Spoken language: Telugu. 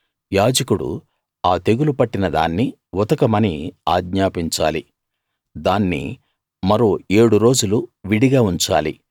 యాజకుడు ఆ తెగులు పట్టిన దాన్ని ఉతకమని ఆజ్ఞాపించాలి దాన్ని మరో ఏడు రోజులు విడిగా ఉంచాలి